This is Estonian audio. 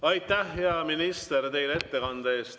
Aitäh, hea minister, teile ettekande eest!